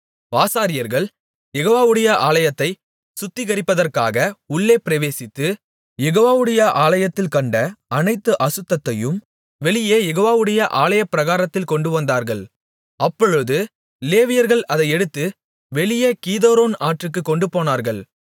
ஆசாரியர்கள் யெகோவாவுடைய ஆலயத்தை சுத்திகரிப்பதற்காக உள்ளே பிரவேசித்து யெகோவாவுடைய ஆலயத்தில் கண்ட அனைத்து அசுத்தத்தையும் வெளியே யெகோவாவுடைய ஆலயப்பிராகாரத்தில் கொண்டு வந்தார்கள் அப்பொழுது லேவியர்கள் அதை எடுத்து வெளியே கீதரோன் ஆற்றிற்குக் கொண்டு போனார்கள்